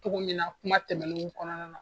Cogo min na kuma tɛmɛn kɔnɔna na